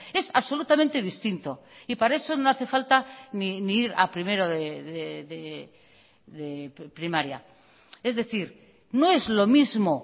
es absolutamente distinto y para eso no hace falta ni ir a primero de primaria es decir no es lo mismo